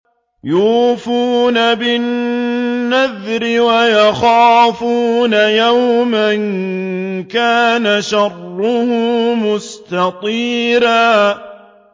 يُوفُونَ بِالنَّذْرِ وَيَخَافُونَ يَوْمًا كَانَ شَرُّهُ مُسْتَطِيرًا